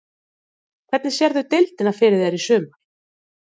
Hvernig sérðu deildina fyrir þér í sumar?